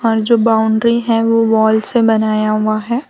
और जो बाउंड्री है वो वॉल से बनाया हुआ है।